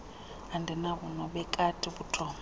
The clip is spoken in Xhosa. andinabo nobekati ubuthongo